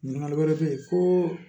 Ɲininkakali wɛrɛ bɛ yen ko